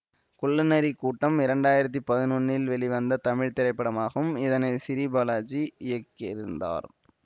குள்ளநரி கூட்டம் இரண்டு ஆயிரத்தி பதினொன்றில் வெளிவந்த தமிழ் திரைப்படமாகும் இதனை சிறீபாலாஜி இயக்கியிருந்தார்